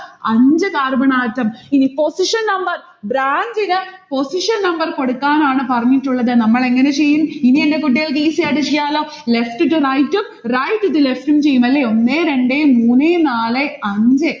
അഞ്ചു carbon atom ഇനി position number. branch ന് position number കൊടുക്കാനാണ് പറഞ്ഞിട്ടുള്ളത്. നമ്മളെങ്ങനെ ചെയ്യും? ഇനി എന്റെ കുട്ടികൾക്ക് easy ആയിട്ട് ചെയ്യലോ? left to right ഉം right to left ഉം ചെയ്യും അല്ലേ? ഒന്നേ രണ്ടേ മൂന്നേ നാലേ അഞ്ചേ